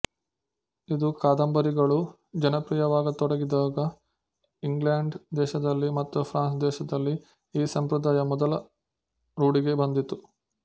ಇದು ಕಾದಂಬರಿಗಳು ಜನಪ್ರಿಯವಾಗತೊಡಗಿದಾಗ ಇಂಗ್ಲೆಂಡ್ ದೇಶದಲ್ಲಿ ಮಾತು ಫ್ರಾನ್ಸ್ ದೇಶದಲ್ಲಿ ಈ ಸಂಪ್ರದಾಯ ಮೊದಲು ರೂಢಿಗೆ ಬಂದಿತು